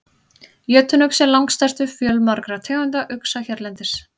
Jötunuxi er langstærstur fjölmargra tegunda uxa hérlendis.